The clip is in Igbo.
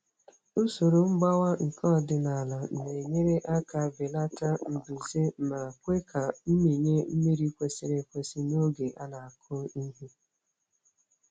Usoro mgbawa nke ọdịnala na-enyere aka belata mbuze ma kwe ka mmịnye mmiri kwesịrị ekwesị n'oge a na-akụ ihe.